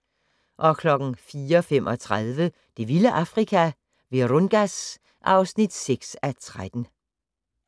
04:35: Det vilde Afrika - Virungas (6:13)